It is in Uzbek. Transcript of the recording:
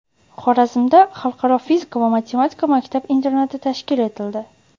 Xorazmda Xalqaro fizika va matematika maktab-internati tashkil etildi.